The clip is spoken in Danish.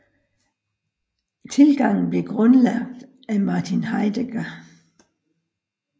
Tilgangen blev grundlagt af Martin Heidegger